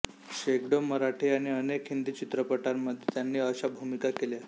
शेकडो मराठी आणि अनेक हिंदी चित्रपटांमध्ये त्यांनी अशा भूमिका केल्या